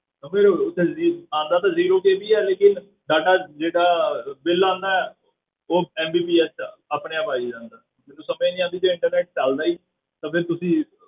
ਆਉਂਦਾ ਤੇ zero bill ਹੀ ਹੈ ਲੇਕਿੰਨ ਸਾਡਾ ਜਿਹੜਾ ਬਿੱਲ ਆਉਂਦਾ ਹੈ ਉਹ MBPS 'ਚ ਆਪਣੇ ਆਪ ਆਈ ਜਾਂਦਾ, ਮੈਨੂੰ ਸਮਝ ਨੀ ਆਉਂਦੀ ਵੀ internet ਚੱਲਦਾ ਹੀ ਨੀ ਤਾਂ ਫਿਰ ਤੁਸੀਂ,